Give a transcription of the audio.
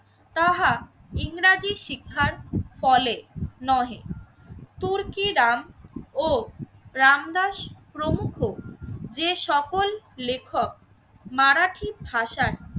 তাহা ইংরেজি শিক্ষার ফলে নহে। তুর্কি দাম ও রামদাস প্রমুখ যে সকল লেখক মারাঠি ভাষায়